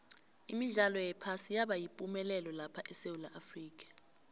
imidlalo yephasi yaba yipumelelo lapha esewula afrika